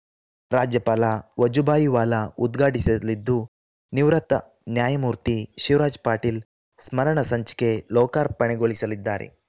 ರಾಜ್ಯಪಾಲ ವಜುಭಾಯಿ ವಾಲಾ ಉದ್ಘಾಟಿಸಲಿದ್ದು ನಿವೃತ್ತ ನ್ಯಾಯಮೂರ್ತಿ ಶಿವರಾಜ್‌ ಪಾಟೀಲ್‌ ಸ್ಮರಣ ಸಂಚಿಕೆ ಲೋಕಾರ್ಪಣೆಗೊಳಿಸಲಿದ್ದಾರೆ